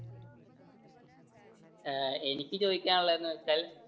ഏർ എനിക്ക് ചോദിക്കാനുള്ളത് എന്ന് വെച്ചാൽ